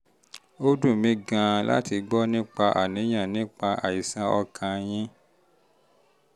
ó dùn mí gan-an láti gbọ́ nípa àwọn àníyàn nípa àìsàn ọkàn yìí um